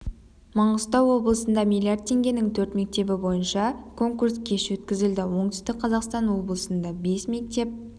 маңғыстау облысында миллиард теңгенің төрт мектебі бойынша конкурс кеш өткізілді оңтүстік қазақстан облысында бес мектеп